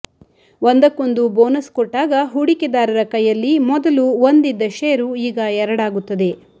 ಒಂದಕ್ಕೊಂದು ಬೋನಸ್ ಕೊಟ್ಟಾಗ ಹೂಡಿಕೆದಾರರ ಕೈಯಲ್ಲಿ ಮೊದಲು ಒಂದಿದ್ದ ಶೇರು ಈಗ ಎರಡಾಗುತ್ತದೆ